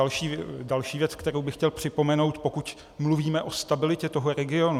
A další věc, kterou bych chtěl připomenout, pokud mluvíme o stabilitě toho regionu.